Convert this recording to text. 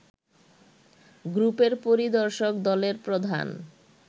গ্রুপের পরিদর্শক দলের প্রধান